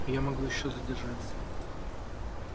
я могу ещё задержаться